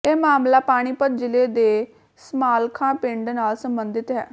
ਇਹ ਮਾਮਲਾ ਪਾਣੀਪਤ ਜ਼ਿਲ੍ਹੇ ਦੇ ਸਮਾਲਖਾ ਪਿੰਡ ਨਾਲ ਸਬੰਧਤ ਹੈ